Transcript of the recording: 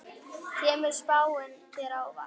Kemur spáin þér á óvart?